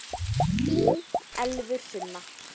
Þín Elfur Sunna.